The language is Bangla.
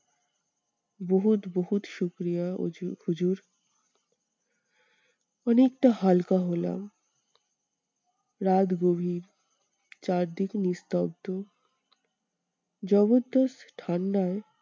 হুজু~ হুজুর, অনেকটা হালকা হলাম। রাত গভীর চারিদিক নিস্তব্ধ। ঠান্ডায়